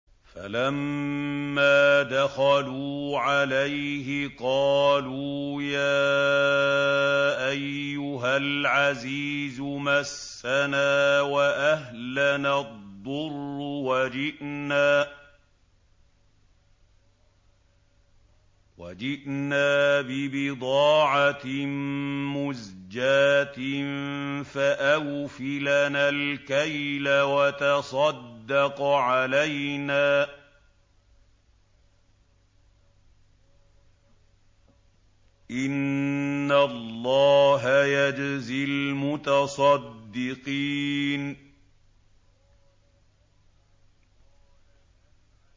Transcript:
فَلَمَّا دَخَلُوا عَلَيْهِ قَالُوا يَا أَيُّهَا الْعَزِيزُ مَسَّنَا وَأَهْلَنَا الضُّرُّ وَجِئْنَا بِبِضَاعَةٍ مُّزْجَاةٍ فَأَوْفِ لَنَا الْكَيْلَ وَتَصَدَّقْ عَلَيْنَا ۖ إِنَّ اللَّهَ يَجْزِي الْمُتَصَدِّقِينَ